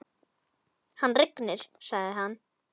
Hann rignir, sagði hann.